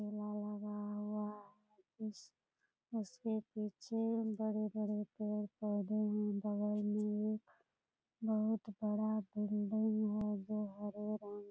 ठेला लगा हुआ उस उसके पीछे बड़े-बड़े पेड़-पौधे हैं बगल में एक बहुत बड़ा बिल्डिंग है जो हरे रंग --